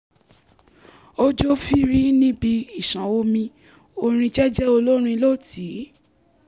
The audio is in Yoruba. ó jó fírí níbi ìṣàn omi orin jẹ́jẹ́ olórin ló tì í